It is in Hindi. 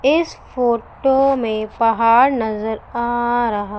इस फोटो में पहाड़ नजर आ रहा--